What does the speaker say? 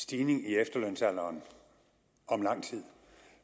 stigning i efterlønsalderen om lang tid